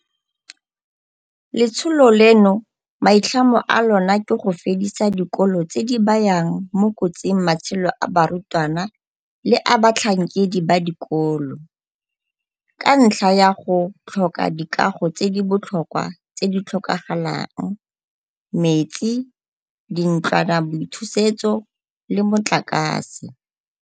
Letsholo leno maitlhomo a lona ke go fedisa dikolo tse di bayang mo kotsing matshelo a barutwana le a batlhankedi ba dikolo, ka ntlha ya go tlhoka dikago tse di botlhokwa tse di tlhokagalang, metsi, dintlwanaboithusetso le motlakase.